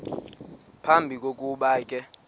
phambi kokuba ke